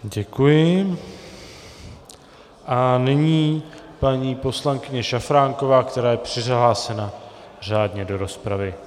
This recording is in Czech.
Děkuji a nyní paní poslankyně Šafránková, která je přihlášena řádně do rozpravy.